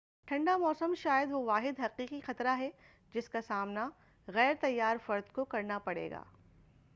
ٹھنڈا موسم شاید وہ واحد حقیقی خطرہ ہے جس کا سامنا غیرتیّار فرد کو کرنا پڑے گا